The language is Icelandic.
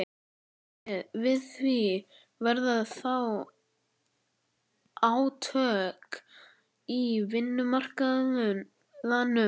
orðið við því, verða þá átök á vinnumarkaðnum?